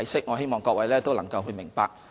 我希望各位能夠明白。